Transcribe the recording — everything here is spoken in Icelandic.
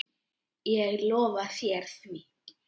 Ég lofa þér því.